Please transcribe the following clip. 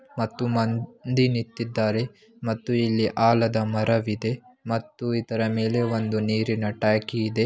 ಮತ್ತು ಮಂದ ನಿಂತಿದ್ದಾರೆ ಮತ್ತು ಇಲ್ಲಿ ಆಲದ ಮರವಿದೆ ಮತ್ತು ಇದರ ಮೇಲೆ ಒಂದು ನೀರಿನ ಟ್ಯಾಕಿ ಇದೆ.